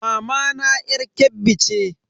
Mamana yar Kebbi ce.